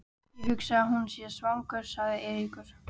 Ég hugsa að hann sé svangur sagði Eiríkur.